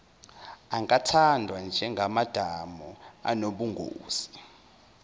angathathwa njengamadamu anobungozi